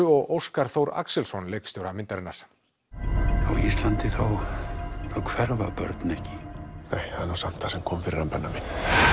og Óskar Axelsson leikstjóra myndarinnar á Íslandi þá hverfa börn ekki það er nú samt það sem kom fyrir Benna minn